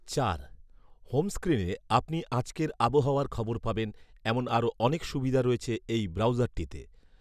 চার, হোমস্ক্রিনে স্ক্রিনে আপনি আজকের আহাওয়ার খবর পাবেন, এমন আরো অনেক সুবিধা রয়েছে এই ব্রাউজারটিতে